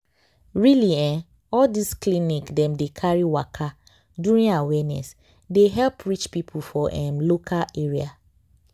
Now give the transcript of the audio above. really eh all this clinic dem dey carry waka during awareness dey help reach people for um local area.